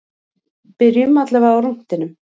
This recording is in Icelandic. Byrjum allavega á rúntinum.